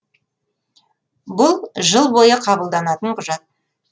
бұл жыл бойы қабылданатын құжат